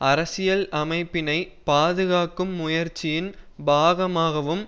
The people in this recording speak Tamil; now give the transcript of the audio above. அரசியல் அமைப்பினை பாதுகாக்கும் முயற்சியின் பாகமாகவும்